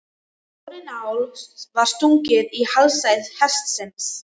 Stórri nál var stungið í hálsæð hestsins.